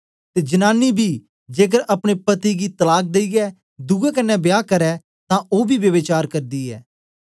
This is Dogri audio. ते जनांनी बी जेकर अपने पति गी तलाक देईयै दुए कन्ने ब्या करै तां ओ बी ब्यभिचार करदी ऐ